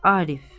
Arif.